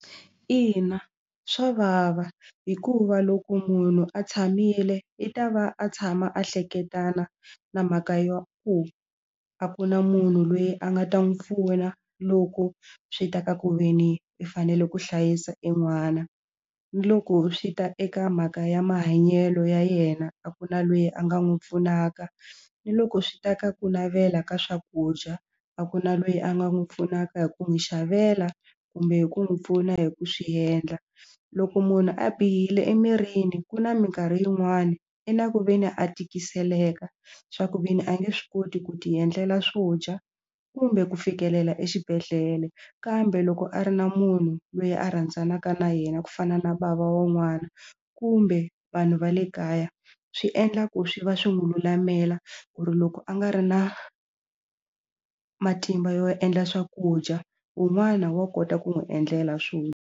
Ina swa vava hikuva loko munhu a tshamile i ta va a tshama a hleketana na mhaka yo ku a ku na munhu lweyi a nga ta n'wi pfuna loko swi ta ka ku ve ni u fanele ku hlayisa e n'wana ni loko swi ta eka mhaka ya mahanyelo ya yena a ku na lweyi a nga n'wi pfunaka ni loko swi ta ka ku navela ka swakudya a ku na lweyi a nga n'wi pfunaka hi ku n'wi xavela kumbe hi ku n'wi pfuna hi ku swiendla loko munhu a bihile emirini ku na mikarhi yin'wani i na ku ve ni a tikiseleka swa ku ve ni a nge swi koti ku ti endlela swo dya kumbe ku fikelela exibedhlele kambe loko a ri na munhu loyi a rhandzanaka na yena ku fana na bava wun'wana kumbe vanhu va le kaya swi endla ku swi va swi n'wi lulamela ku ri loko a nga ri na matimba yo endla swakudya wun'wana wa kota ku n'wi endlela swo.